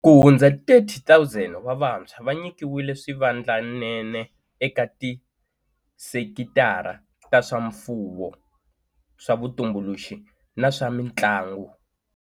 Kuhundza 30 000 wa vantshwa va nyikiwile swivandlanene eka tisekitara ta swa mfuwo, swa vutumbuluxi na swa mitlangu.